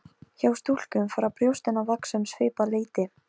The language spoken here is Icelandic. Ég gríp fyrir eyrun, ég vil ekki heyra það!